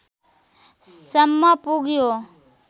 सम्म पुग्यो